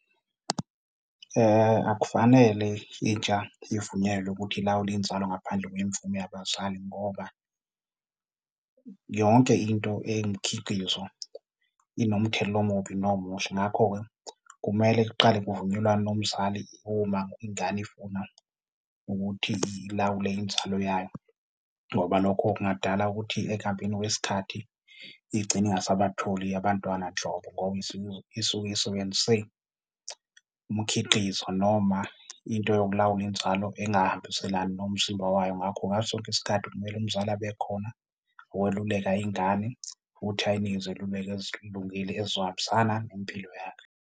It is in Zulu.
Akufanele intsha ivunyelwe ukuthi ilawule inzalo ngaphandle kwemvume yabazali ngoba yonke into eyimikhiqizo inomthelela omubi nomuhle. Ngakho-ke, kumele kuqale kuvunyelwane nomzali uma ingane ifuna ukuthi ilawule inzalo yayo ngoba lokho kungadala ukuthi ekuhambeni kwesikhathi igcine ingasabatholi abantwana nhlobo, ngoba isuke isebenzise umkhiqizo noma into yokulawula inzalo engahambiselana nomzimba wayo. Ngakho, ngaso sonke isikhathi kumele umzali abe khona ukweluleka ingane futhi ayinike izeluleko ezilungile ezizohambisana nempilo yakhe.